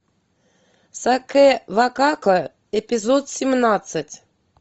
сакэ вакако эпизод семнадцать